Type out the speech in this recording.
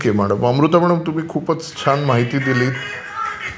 Okay madam. Amrita madam तुम्ही खूपच छान माहिती दिली.